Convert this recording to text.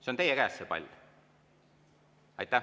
See on teie käes, see pall.